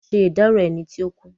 Wọ́n ṣe ìdárò ẹni tó kú.